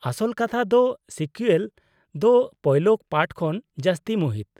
ᱟᱥᱚᱞ ᱠᱟᱛᱷᱟ ᱫᱚ, ᱥᱤᱠᱩᱭᱮᱞ ᱫᱚ ᱯᱳᱭᱞᱳ ᱯᱟᱨᱴ ᱠᱷᱚᱱ ᱡᱟᱹᱥᱛᱤ ᱢᱩᱦᱤᱛ ᱾